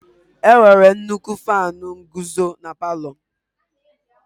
Enwere nnukwu Faanu nguzo na palu.